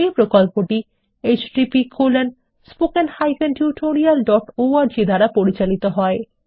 এই প্রকল্পটি httpspoken tutorialorg দ্বারা পরিচালিত হয়